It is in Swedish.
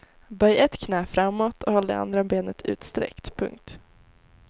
Böj ett knä framåt och håll det andra benet utsträckt. punkt